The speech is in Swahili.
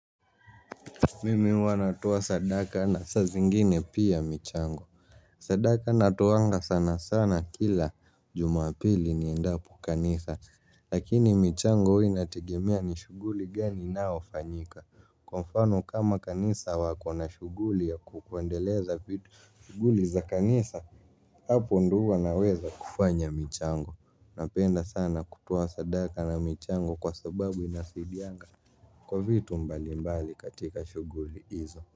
Mimi huwa natoa sadaka na saa zingine pia michango. Sadaka natoanga sana sana kila jumapili ni endapo kanisa lakini michango huwia nategemea ni shughuli gani inayo fanyika. Kwa mfano kama kanisa wako na shughuli ya kukuendeleza vitu shughuli za kanisa. Hapo ndio huwa naweza kufanya michango. Napenda sana kutoa sadaka na michango kwa sababu inasaidianga. Kwa vitu mbali mbali katika shughuli hizo.